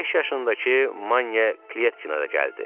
Beş yaşındakı Manye Kletkina da gəldi.